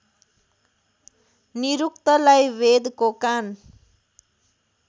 निरुक्तलाई वेदको कान